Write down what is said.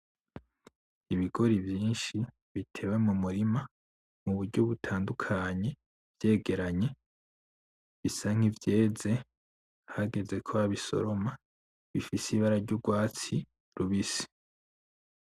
Ibigori vyinshi bitewe mumurima muburyo butandukanye, vyegeranye bisa nkivyeze hageze ko babisoroma bifise ibara ry'ugwatsi rubisi.